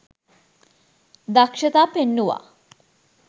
දක්ෂතා පෙන්නුවා.